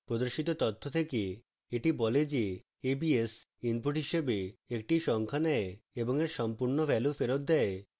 প্রদর্শিত তথ্য থেকে এটি বলে যে abs input হিসাবে একটি সংখ্যা নেয় এবং এর সম্পূর্ণ value ফেরৎ দেয়